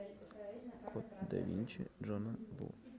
код да винчи джона ву